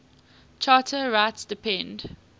charter rights depend